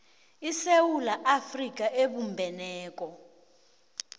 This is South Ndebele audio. isewula afrika ebumbeneko